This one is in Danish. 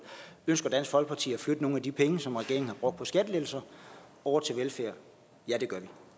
ønsker dansk folkeparti at flytte nogle af de penge som regeringen har brugt på skattelettelser over til velfærd ja det